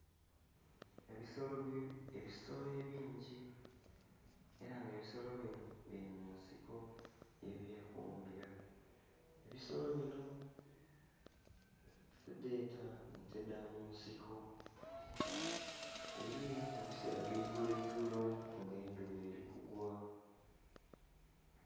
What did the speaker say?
Ebisolo ebingi era nga ebisolo binho biri munsiko ye byekumira, ebisolo binho tudheta nte dha munsiko biliyo mu bisera bya igulo igulo nga endhuba eri kugwa.